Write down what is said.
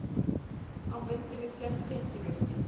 Á myndinni sést tengivirki.